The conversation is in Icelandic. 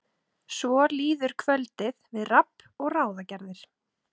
Svo líður kvöldið við rabb og ráðagerðir.